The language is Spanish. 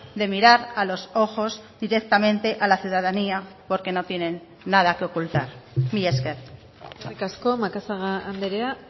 de mirar a los ojos directamente a la ciudadanía porque no tienen nada que ocultar mila esker eskerrik asko macazaga andrea